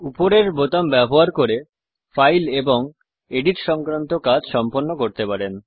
উপরের বোতাম ব্যবহার করে ফাইল এবং এডিট সংক্রান্ত কাজ সম্পন্ন করতে পারেন